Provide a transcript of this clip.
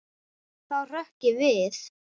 Þá hrökk ég við.